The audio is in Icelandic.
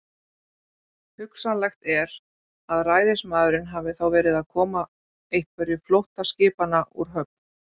Hugsanlegt er, að ræðismaðurinn hafi þá verið að koma einhverju flóttaskipanna úr höfn.